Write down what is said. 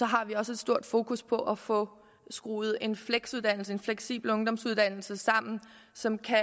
har vi også et stort fokus på at få skruet en fleksuddannelse en fleksibel ungdomsuddannelse sammen som kan